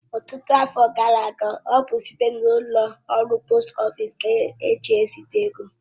Ọtụtụ afọ gara aga, ọ bụ site n'ụlọ ọrụ poost ofịsi ka eji eziga ego